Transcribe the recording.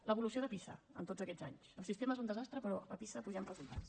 l’evolució de pisa en tots aquests anys el sistema és un desastre però a pisa pugem resultats